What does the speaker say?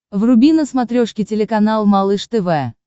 вруби на смотрешке телеканал малыш тв